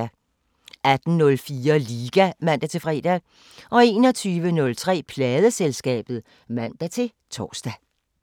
18:04: Liga (man-fre) 21:03: Pladeselskabet (man-tor)